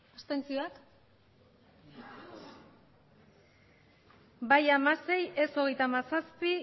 abstentzioak bai hamasei ez hogeita hamazazpi